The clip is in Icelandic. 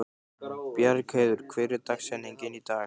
Bjargheiður, hver er dagsetningin í dag?